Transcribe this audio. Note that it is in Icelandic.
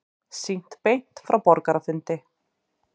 Sýnt beint frá borgarafundi